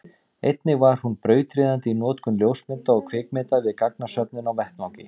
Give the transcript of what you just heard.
einnig var hún brautryðjandi í notkun ljósmynda og kvikmynda við gagnasöfnun á vettvangi